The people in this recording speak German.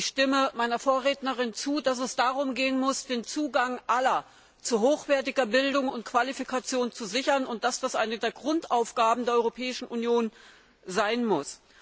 Ich stimme meiner Vorrednerin zu, dass es darum gehen muss, den Zugang aller zu hochwertiger Bildung und Qualifikation zu sichern, und dass das eine der Grundaufgaben der Europäischen Union sein muss.